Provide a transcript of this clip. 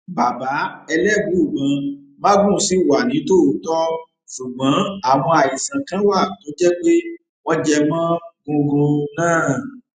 bàbá elébùíbọn magun ṣì wà nítòótọ ṣùgbọn àwọn àìsàn kan wà tó jẹ pé wọn jẹ mọ gungun náà